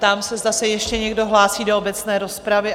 Ptám se, zda se ještě někdo hlásí do obecné rozpravy?